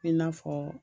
I n'a fɔ